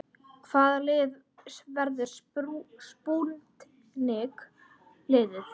Hvaða lið verður spútnik liðið?